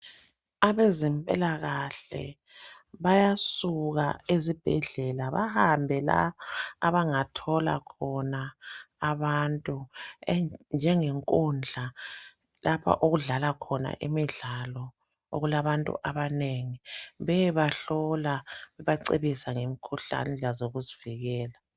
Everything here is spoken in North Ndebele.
Abeze mpilakahle bayasuka eZibhedlela bahambe la abangathola khona abantu e njenge nkundla lapho okudlala khona imidlalo okulabantu abanengi beyebahlola bebacebisa ngemkhuhlane lendlela zokuzivikela